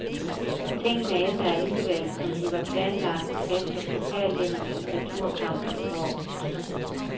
Tingene endte alligevel, som de var planlagt efter pokalvindernes returkampe i går.